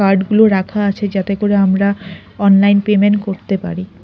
কার্ডগুলো রাখা আছে যাতে করে আমরা অনলাইন পেমেন্ট গুলো করতে পারি।